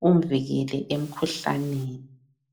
kumvikele emikhuhlaneni.